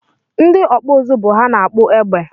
Ndị ọkpụ ụzụ bụ ha na-akpụ egbe